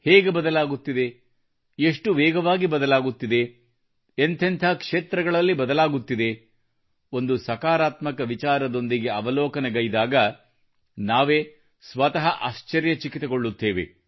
ಹೇಗೆ ಬದಲಾಗುತ್ತಿದೆ ಎಷ್ಟು ವೇಗವಾಗಿ ಬದಲಾಗುತ್ತಿದೆ ಎಂಥೆಂಥ ಕ್ಷೇತ್ರಗಳಲ್ಲಿ ಬದಲಾಗುತ್ತಿದೆ ಒಂದು ಸಕಾರಾತ್ಮಕ ವಿಚಾರದೊಂದಿಗೆ ಅವಲೋಕನಗೈದಾಗ ನಾವೇ ಸ್ವತಃ ಆಶ್ಚರ್ಯಚಕಿತಗೊಳ್ಳುತ್ತೇವೆ